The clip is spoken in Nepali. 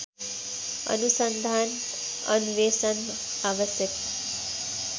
अनुसन्धान अन्वेषण आवश्यक